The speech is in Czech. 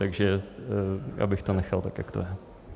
Takže já bych to nechal, tak jak to je.